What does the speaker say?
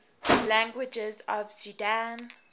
languages of sudan